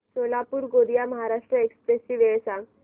Solapur Gondia Maharashtra express ची वेळ सांगा